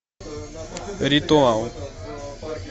ритуал